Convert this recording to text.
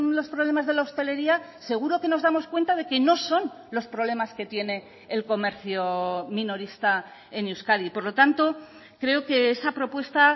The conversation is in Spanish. los problemas de la hostelería seguro que nos damos cuenta de que no son los problemas que tiene el comercio minorista en euskadi por lo tanto creo que esa propuesta